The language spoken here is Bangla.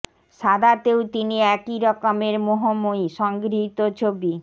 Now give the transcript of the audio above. সাদাতেও তিনি একই রকমের মোহময়ী সংগৃহীত ছবি